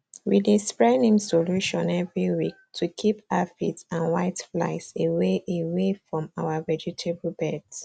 we dey spray neem solution every week to keep aphids and whiteflies away away from our vegetable beds